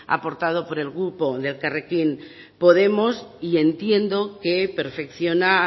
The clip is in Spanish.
aportado por el grupo de elkarrekin podemos y entiendo que perfecciona